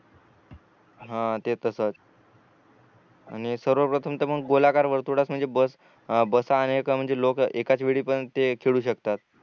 हा ते तसच आणि सर्वप्रथम तर मग गोलाकार वर्तुळस म्हणजे बस बसा आले का म्हणजे लोक एकाच वेळी पण ते खेळू शकते